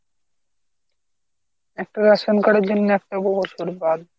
একটা ration card এর জন্য একটা বছর পুরোপুরি বাদ